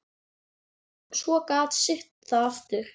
Svo gat syrt að aftur.